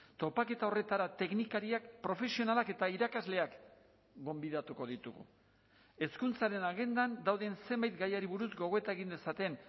topaketa horretara teknikariak profesionalak eta irakasleak gonbidatuko ditugu hezkuntzaren agendan dauden zenbait gaiari buruz gogoeta egin dezaten